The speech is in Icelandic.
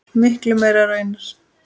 Miklu meira raunar.